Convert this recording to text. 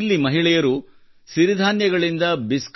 ಇಲ್ಲಿ ಮಹಿಳೆಯರು ಸಿರಿಧಾನ್ಯಗಳಿಂದ ಕುಕ್ಕೀಸ್